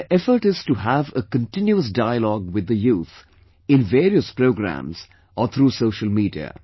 My effort is to have a continuous dialogue with the youth in various programmes or through social media